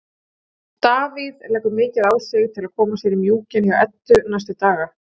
Davíð leggur mikið á sig til að koma sér í mjúkinn hjá Eddu næstu daga.